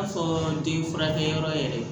den furakɛ yɔrɔ yɛrɛ